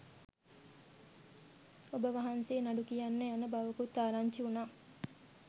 ඔබවහන්සේ නඩු කියන්න යන බවකුත් ආරංචි වුණා.